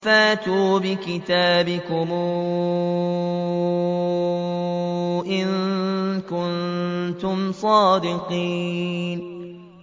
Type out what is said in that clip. فَأْتُوا بِكِتَابِكُمْ إِن كُنتُمْ صَادِقِينَ